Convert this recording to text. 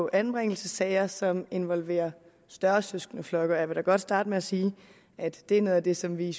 anbringelsessager som involverer større søskendeflokke jeg vil da godt starte med at sige at det er noget af det som vi i